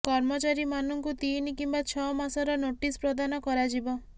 କର୍ମଚାରୀମାନଙ୍କୁ ତିନି କିମ୍ବା ଛଅ ମାସର ନୋଟିସ୍ ପ୍ରଦାନ କରାଯିବ